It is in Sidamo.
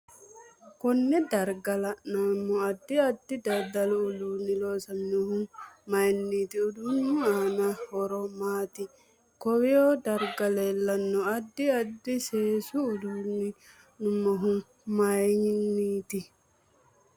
Konne darga leelanno addi addi dadalu uduuni loosaminohu mayiiniti uduunu aano horo maati konnw darga leelanno aidd addi seesu uduuni loosaminohu mayiiniti